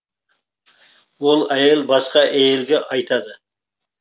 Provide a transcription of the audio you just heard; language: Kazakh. ол әйел басқа әйелге айтады